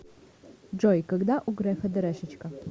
джой когда у грефа дэрэшечка